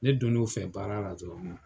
Ne don n'u fɛ baara la dɔrɔn.